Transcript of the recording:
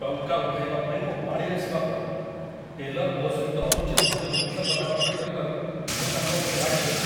ଟଙ୍କା ଉଠାଇବା ପାଇଁ ମୋ ପାଳି ଆସିବା ପରେ ଟେଲର୍ ମୋ ସହିତ ଅନୁଚିତ ଭାବେ ରୁକ୍ଷ କଥାବାର୍ତ୍ତା କରିବାରୁ ମୁଁ ତାଙ୍କ ଉପରେ ରାଗିଗଲି